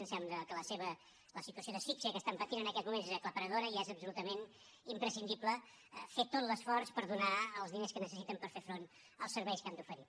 ens sembla que la situació d’asfíxia que pateixen en aquests moments és aclaparadora i és absolutament imprescindible fer tot l’esforç per donar els diners que necessiten per fer front als serveis que han d’oferir